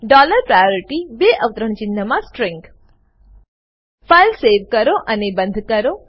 dollar priority બે અવતરણ ચિન્હમા સ્ટ્રીંગ ફાઈલ સેવ કરો અને બંદ કરો